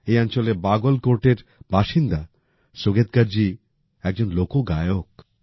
এই অঞ্চলের বাগল কোর্টের বাসিন্দা সুগেৎকার জি একজন লোক গায়ক